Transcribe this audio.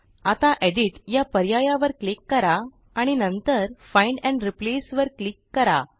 आता Editया पर्यायावर क्लिक करा आणि नंतर फाइंड एंड रिप्लेस वर क्लिक करा